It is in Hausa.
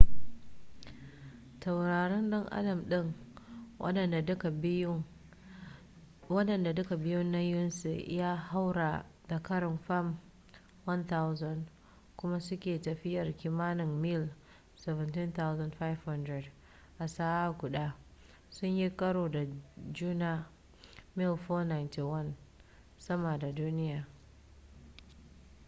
taurarin dan adam ɗin waɗanda duka biyun nauyinsu ya haura da ƙarin fam 1,000 kuma suke tafiyar kimanin mil 17,500 a sa'a guda sun yi karo da juna mil 491 sama da duniya